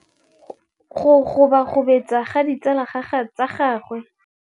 Go gobagobetsa ga ditsala tsa gagwe, gore ba tsamaye go dirile gore a lebale tšhelete.